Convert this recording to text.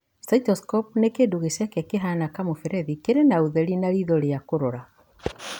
Cystoscope nĩ kĩndũ gĩceke, kĩhana kamũberethi kĩrĩ na ũtheri na riitho rĩa kũrora.